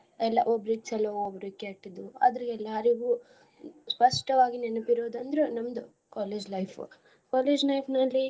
ಎಲ್ಲ ಒಬ್ರಿಗ್ ಚೊಲೋ ಒಬ್ರಿಗ್ ಕೆಟ್ಟದು ಆದ್ರೂ ಎಲ್ಲಾರ್ಗು ಸ್ಪಷ್ಟವಾಗಿ ನೆನಪ್ ಇರೋದ್ ಅಂದ್ರ ನಮ್ದ college life college life ನಲ್ಲಿ.